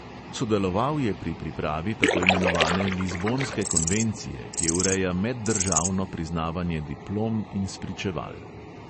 Sodeloval je pri pripravi tako imenovane lizbonske konvencije, ki ureja meddržavno priznavanje diplom in spričeval.